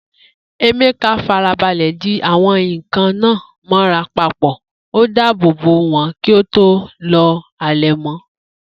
Emeka farabalẹ̀ di àwọn nkan náà mọ́ra papọ̀, ó dáàbò bo wọn kí ó tó lo àlẹ̀mọ́.